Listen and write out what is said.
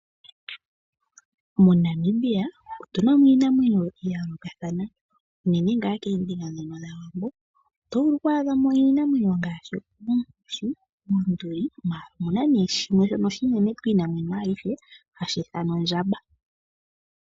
MoNamibia otu na mo iinamwenyo ya yoolokathana, unene ngaa koombinga ndhoka dhaWambo. Oto vulu oku adha ko iinamwenyo ngaashi oonkoshi, oonduli, ihe omu na shimwe shoka oshinene kiinamwenyo ayihe shoka hashi ithanwa ondjamba.